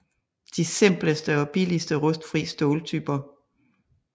De simpleste og billigste rustfri ståltyper